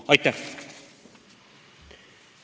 Aitäh!